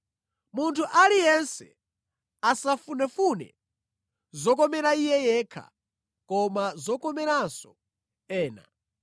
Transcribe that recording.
Munthu aliyense asafunefune zokomera iye yekha, koma zokomeranso ena.